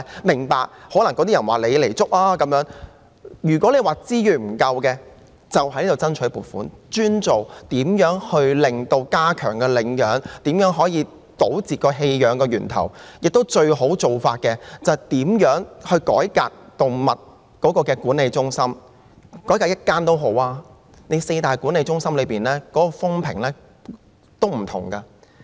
如果問題是資源不足，便應該向立法會申請撥款，專門用於加強領養和堵截棄養源頭的工作，最好的做法便是看看如何改革動物管理中心，即使是改革一間也好，因為四大動物管理中心的評價也有所不同。